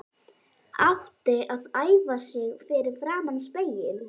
Átti að æfa sig fyrir framan spegil.